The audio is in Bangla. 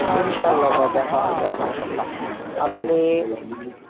ইনসাল্লাহ দা, দেখা হবে অবশ্যই আপনি,